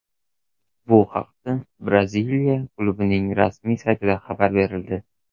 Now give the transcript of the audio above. Bu haqda Braziliya klubining rasmiy saytida xabar berildi .